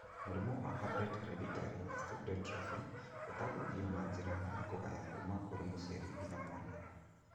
Mũrimũ wa Albright's hereditary osteodystrophy ũtambanagio na njĩra ya kũgaya kuma kũrĩ mũciari nginya mwana